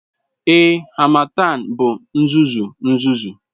Ee, harmattan bụ uzuzu uzuzu.